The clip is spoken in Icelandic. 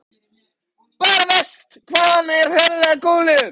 Bara verst hvað hann er ferlega góðlegur.